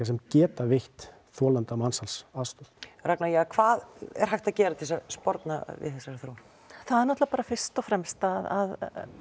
sem geta veitt þolanda mansals aðstoð ragna hvað er hægt að gera til að sporna við þessari þróun það er náttúrulega bara fyrst og fremst að